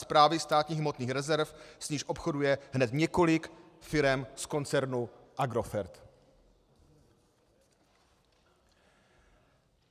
Správy státních hmotných rezerv, s níž obchoduje hned několik firem z koncernu Agrofert.